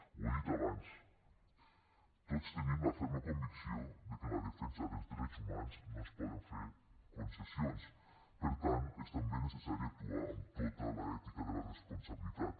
ho he dit abans tots tenim la ferma convicció de que en la defensa dels drets humans no es poden fer concessions per tant és també necessari actuar amb tota l’ètica de la responsabilitat